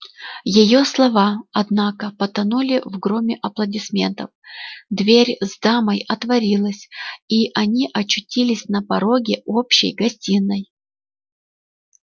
её слова однако потонули в громе аплодисментов дверь с дамой отворилась и они очутились на пороге общей гостиной